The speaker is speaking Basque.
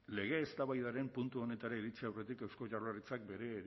lege eztabaidaren puntu honetara iritsi aurretik eusko jaurlaritzak